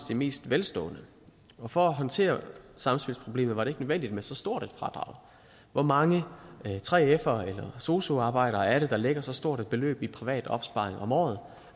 de mest velstående for at håndtere samspilsproblemet var det nødvendigt med så stort et fradrag hvor mange 3fere eller sosu arbejdere er det der lægger så stort et beløb i privat opsparing om året